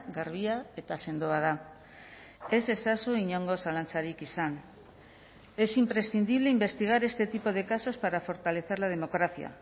garbia eta sendoa da ez ezazu inongo zalantzarik izan es imprescindible investigar este tipo de casos para fortalecer la democracia